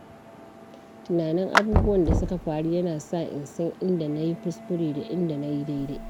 Tunanin abubuwan da suka faru yana sa in san inda na yi kuskure da inda na yi dai-dai.